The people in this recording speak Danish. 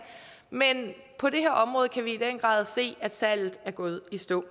men på det her område kan vi i den grad se at salget er gået i stå